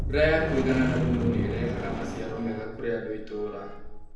Mbũra ya kũigana na thumu nĩirehaga maciaro mega kũrĩandũ a itura